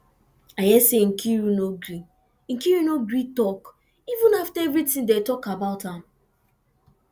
i hear say nkiru no gree nkiru no gree talk even after everything dey talk about am